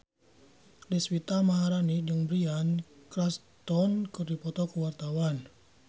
Deswita Maharani jeung Bryan Cranston keur dipoto ku wartawan